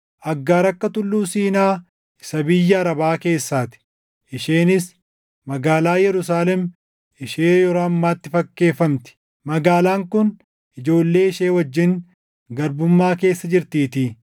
Egaa Aggaar akka Tulluu Siinaa isa biyya Arabaa keessaa ti; isheenis magaalaa Yerusaalem ishee yeroo ammaatti fakkeeffamti; magaalaan kun ijoollee ishee wajjin garbummaa keessa jirtiitii.